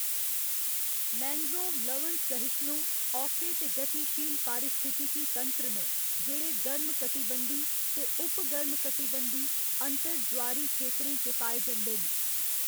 Mangrove लवण सहिष्णु, औखे ते गतिशील पारिस्थितिकी तंत्र न जेह्‌‌ड़े गर्म कटिबंधी ते उप गर्म कटिबंधी अंतर ज्वारी खेतरें च पाए जंदे न।